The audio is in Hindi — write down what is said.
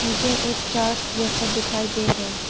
मुझे एक चार्ट्स जैसा दिखाई दे रहे --